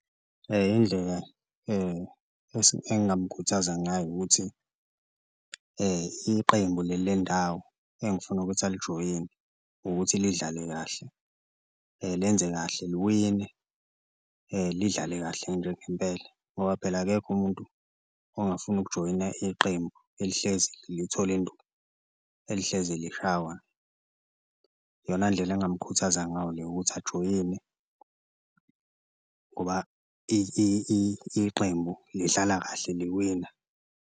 Indlela engamkhuthaza ngayo ukuthi iqembu leli lendawo engifuna ukuthi alijoyine ukuthi lidlale kahle lenze kahle liwine, lidlale kahle nje ngempela ngoba phela akekho umuntu ongafuni ukujoyina iqembu elihlezi lithola induku, elihlezi lishawa. Iyona ndlela engamukhuthaza ngayo le ukuthi ajoyine ngoba iqembu lidlala kahle liwina.